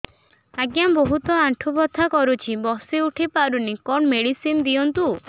ଆଜ୍ଞା ବହୁତ ଆଣ୍ଠୁ ବଥା କରୁଛି ବସି ଉଠି ପାରୁନି କଣ ମେଡ଼ିସିନ ଦିଅନ୍ତୁ